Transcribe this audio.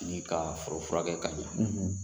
Ni ka foro furakɛ ka ɲɛ